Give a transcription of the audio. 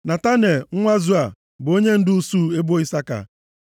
Netanel nwa Zua bụ onyendu usuu ebo Isaka.